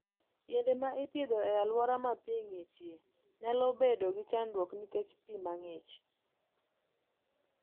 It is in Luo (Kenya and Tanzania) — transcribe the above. Yiende ma ipidho e alwora ma pi ng'ichie nyalo bedo gi chandruok nikech pi mang'ich.